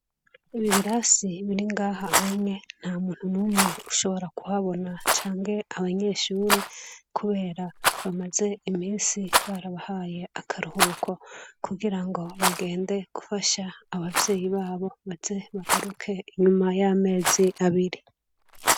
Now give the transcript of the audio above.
Ibi birasi biringaha hange nta muntu mumwe ushobora kuhabona cange abanyeshure, kubera bamaze imisi barabahaye akaruhuko kugira ngo bagende gufasha abavyeyi babo baze bagaruke inyuma y'amezi abiri.